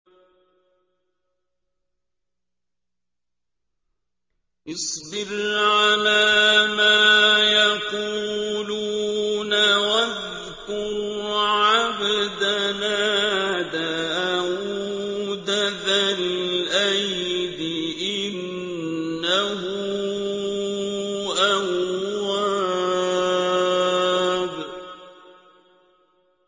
اصْبِرْ عَلَىٰ مَا يَقُولُونَ وَاذْكُرْ عَبْدَنَا دَاوُودَ ذَا الْأَيْدِ ۖ إِنَّهُ أَوَّابٌ